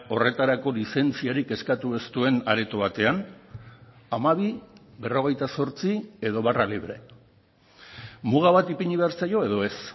horretarako lizentziarik eskatu ez duen areto batean hamabi berrogeita zortzi edo barra libre muga bat ipini behar zaio edo ez